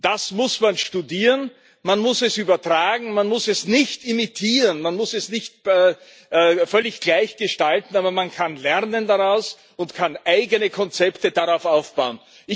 Das muss man studieren, man muss es übertragen, man muss es nicht imitieren, man muss es nicht völlig gleich gestalten, aber man kann daraus lernen und kann eigene Konzepte darauf aufbauen.